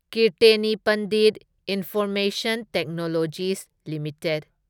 Kirtane Pandit information technologies limited